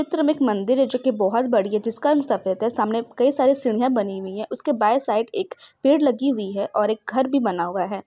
चित्र मे एक मंदिर है जो की बहोत बड़ी है जिसका हम सभ्यता सामने कई सारे सीढ़ियां बनी हुई है उसके बाएं साइड एक पेड़ लगी हुई है और एक घर भी बना हुआ है।